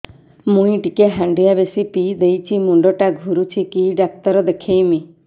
ମୁଇ ଟିକେ ହାଣ୍ଡିଆ ବେଶି ପିଇ ଦେଇଛି ମୁଣ୍ଡ ଟା ଘୁରୁଚି କି ଡାକ୍ତର ଦେଖେଇମି